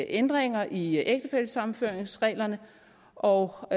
ændringer i ægtefællesammenføringsreglerne og og